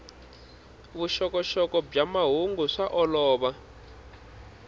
vuxokoxoko bya mahungu swa olova